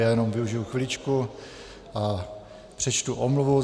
Já jenom využiji chviličku a přečtu omluvu.